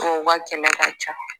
Ko ka kɛmɛ ka ca